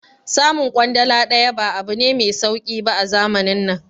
Samun kwandala daya ba abu ne mai sauki ba a zamanin nan